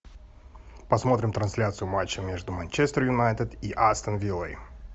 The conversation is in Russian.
посмотрим трансляцию матча между манчестер юнайтед и астон виллой